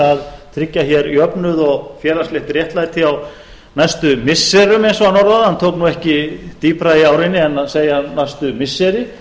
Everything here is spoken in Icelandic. að tryggja jöfnuð og félagslegt réttlæti á næstu missirum eins og hann orðaði það hann tók ekki dýpra í árinni en að segja næstu missiri